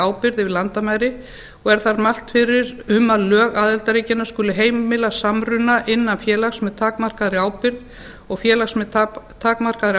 ábyrgð yfir landamæri og er þar mælt fyrir um að lög aðildarríkjanna skuli heimila samruna innlends félags með takmarkaðri ábyrgð og félags með takmarkaðri